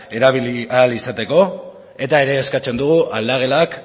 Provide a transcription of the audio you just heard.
erabili ahal izateko eta ere eskatzen dugu aldagelak